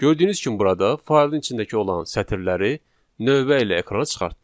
Gördüyünüz kimi burada faylın içindəki olan sətirləri növbə ilə ekrana çıxartdıq.